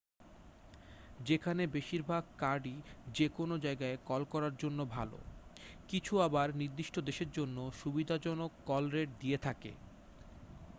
যেখানে বেশিরভাগ কার্ডই যেকোনো জায়গায় কল করার জন্য ভালো কিছু আবার নির্দিষ্ট দেশের জন্য সুবিধাজনক কল রেট দিয়ে থাকে